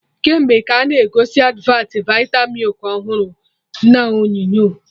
Kemgbe ka a na-egosi advat vita milk ọhụrụ na onyonyo